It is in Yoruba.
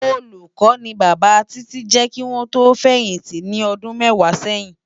Ólúkò ni Baba Titi jè kiwòn tò fèyinti ni òdún mèwá sèyin